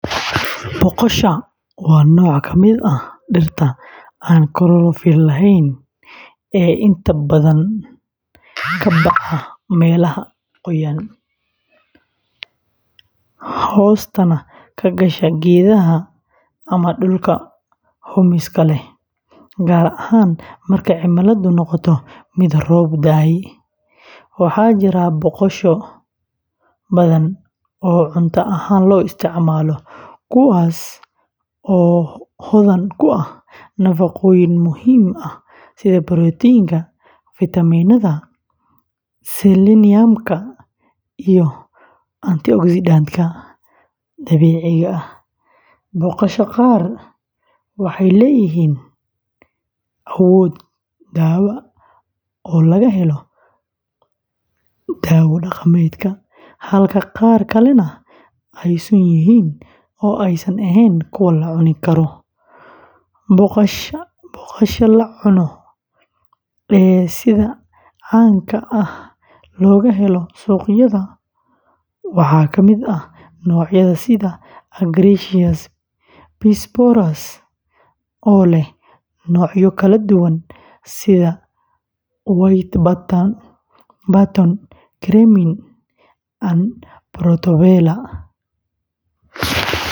Boqosha, waa nooc ka mid ah dhirta aan chlorophyll lahayn ee inta badan ka baxa meelaha qoyan, hoostana ka gasha geedaha ama dhulka humiska leh, gaar ahaan marka cimiladu noqoto mid roobab da’ay. Waxaa jira boqosho badan oo cunto ahaan loo isticmaalo, kuwaas oo hodan ku ah nafaqooyin muhiim ah sida borotiinka, fiitamiinnada, seleniumka, iyo antioxidantka dabiiciga ah. Boqosha qaar waxay leeyihiin awood dawo oo laga helo dawo dhaqameedka, halka qaar kalena ay sun yihiin oo aysan ahayn kuwo la cuni karo. Boqosha la cuno ee sida caanka ah looga helo suuqyada waxaa ka mid ah noocyada sida Agaricus bisporus, oo leh noocyo kala duwan sida white button, cremini, and portobello.